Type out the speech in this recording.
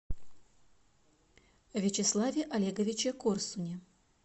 вячеславе олеговиче корсуне